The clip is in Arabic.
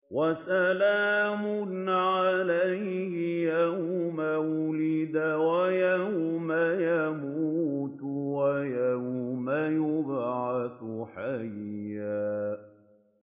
وَسَلَامٌ عَلَيْهِ يَوْمَ وُلِدَ وَيَوْمَ يَمُوتُ وَيَوْمَ يُبْعَثُ حَيًّا